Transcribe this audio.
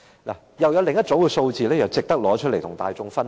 我又有另一組數字想提出來跟大家分享。